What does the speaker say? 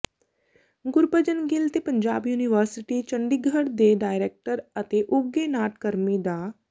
ਗੁਰਭਜਨ ਗਿੱਲ ਤੇ ਪੰਜਾਬ ਯੂਨੀਵਰਸਿਟੀ ਚੰਡੀਗੜ੍ਹ ਦੇ ਡਾਇਰੈਕਟਰ ਅਤੇ ਉਘੇ ਨਾਟਕਰਮੀ ਡਾ